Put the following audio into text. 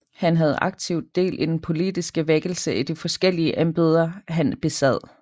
Han havde aktivt del i den politiske vækkelse i de forskellige embeder han besad